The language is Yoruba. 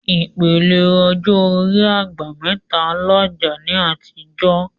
Ìpele ọjọ́ orí "àgbà mẹ́ta" ń làjà ní àtijọ́